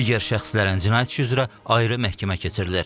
Digər şəxslərin cinayət işi üzrə ayrı məhkəmə keçirilir.